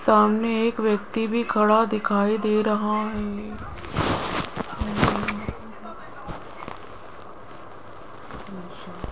सामने एक व्यक्ति भी खड़ा दिखाई दे रहा है।